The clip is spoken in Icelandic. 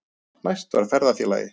Næst var ferðafélagi